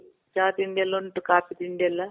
ಚಾ ತಿಂಡಿ ಎಲ್ಲ ಉಂಟು. ಕಾಫಿ ತಿಂಡಿ ಎಲ್ಲ.